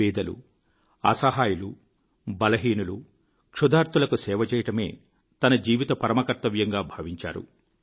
బీదలు అసహాయులు బలహీనులు క్షుధార్తులకు సేవచేయడమే తన జీవిత పరమకర్తవ్యంగా భావించారు